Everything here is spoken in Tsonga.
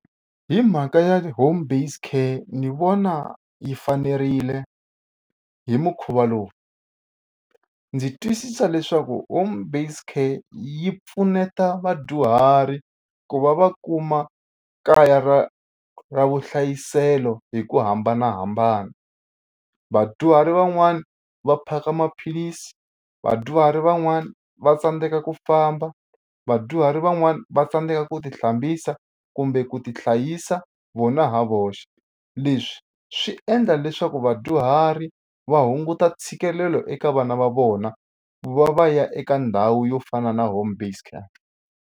Hi mhaka ya home based care ni vona yi fanerile hi mukhuva lowu ndzi twisisa leswaku home based care yi pfuneta vadyuhari ku va va kuma kaya ra ra vuhlayiselo hi ku hambanahambana vadyuhari van'wani va phaka maphilisi vadyuhari van'wana va tsandzeka ku famba vadyuhari van'wana va tsandzeka ku tihlambisa kumbe ku tihlayisa vona hi voxe leswi swi endla leswaku vadyuhari va hunguta ntshikelelo eka vana va vona ku va va ya eka ndhawu yo fana na home based care.